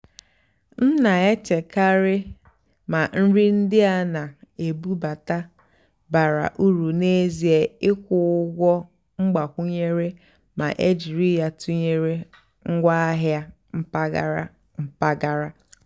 m nà-èchékàrị́ mà nrì ndí á nà-èbúbátá bàrà ùrù n'èzíé ị́kwụ́ ụ́gwọ́ mgbàkwúnyéré mà é jìrí yá tụ́nyeré ngwáàhịá mpàgàrà. mpàgàrà.